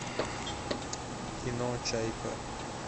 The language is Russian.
кино чайка